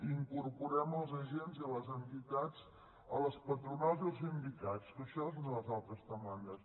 hi incorporem els agents i les entitats les patronals i els sindicats que això és una de les altres demandes